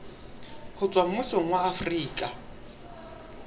ho tswa mmusong wa afrika